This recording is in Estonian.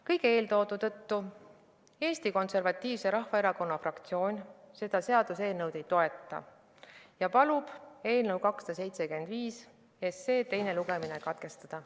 Kõige eeltoodu tõttu Eesti Konservatiivse Rahvaerakonna fraktsioon seda seaduseelnõu ei toeta ja palub eelnõu 275 teine lugemine katkestada.